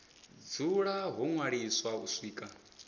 dzula ho ṅwaliswa u swika